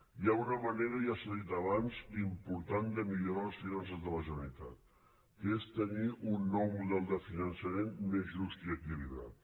hi ha una manera ja s’ha dit abans important de millorar les finances de la generalitat que és tenir un nou model de finançament més just i equilibrat